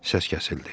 səs kəsildi.